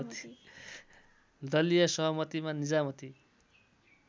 दलीय सहमतिमा निजामती